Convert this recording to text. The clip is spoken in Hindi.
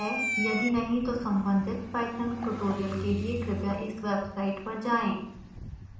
यदि नहीं तो संबंधित python ट्यूटोरियल के लिए कृपया इस वेबसाइट पर जाएं